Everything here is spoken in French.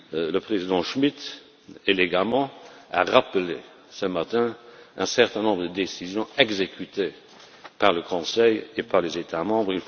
Le président Schmit a élégamment rappelé ce matin un certain nombre de décisions exécutées par le Conseil et par les États membres.